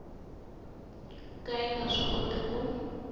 ka yi nga swikoti ku